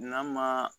N'a ma